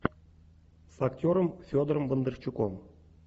с актером федором бондарчуком